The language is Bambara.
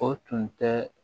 O tun tɛ